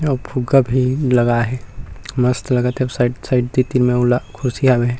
अऊ फुग्गा भी लगाए हे मस्त लगत हे अऊ साइड साइड तीर-तीर मे अऊ लग कुर्सी हवे हे।